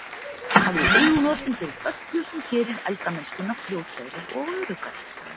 Hafðu augun opin fyrir öllu sem gerir eldamennskuna fljótlegri og öruggari.